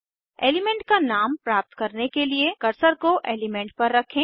element का नाम प्राप्त करने के लिए कर्सर को एलीमेंट पर रखें